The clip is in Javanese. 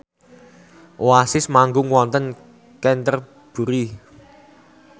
Oasis manggung wonten Canterbury